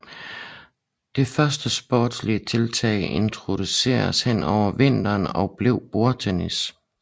Det første sportslige tiltag introduceredes hen over vinteren og blev bordtennis